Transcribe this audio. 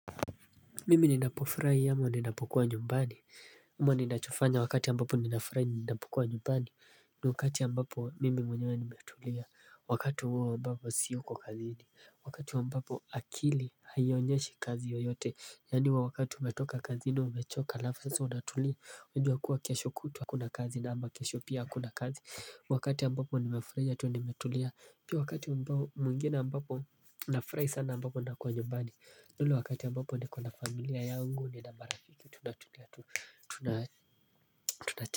Mimi ninapofuraia ama ninapokua nyumbani ama ninachofanya wakati ambapo ninapafurai ninapokua nyumbani. Ni wakati ambapo mimi mwenyewe nimetulia. Wakati huo ambapo siyuko kazini. Wakati ambapo akili haionyeshi kazi yoyote. Yani huwa wakati umetoka kazini umechoka alafu sasa unatulia. Unajua kuwa kesho kutwa hakuna kazi na ama kesho pia hakuna kazi. Wakati ambapo nimefuraia tu nimetulia. Pia wakati mwingine ambapo nafurai sana ambapo nakua nyumbani. Ni ule wakati ambopo niko na familia yangu nina mara kitu tuna tuna tuna tuna.